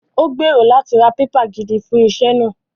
Ó gbèrò láti ra pépà gidi fún iṣẹ́ náà